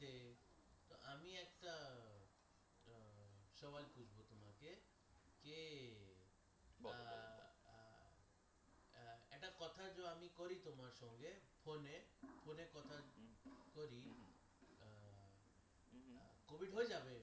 Covid হয়ে যাবে